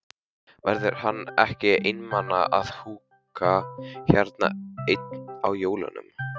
Verður hann ekki einmana að húka hérna einn á jólunum?